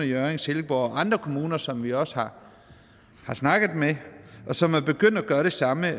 hjørring silkeborg og andre kommuner som vi også har snakket med som er begyndt at gøre det samme